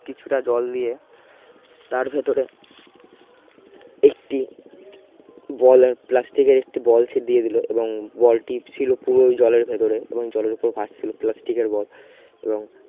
কিছুটা জল নিয়ে তার ভেতরে একটি ball হয় প্লাস্টিকের একটি ball সে দিয়ে দিলো এবং ball টি ছিল পুরো জলের ভেতরে এবং জলের ওপর ভাসছিলো ছিল প্লাস্টিকের ball এবং